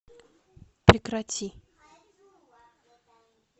прекрати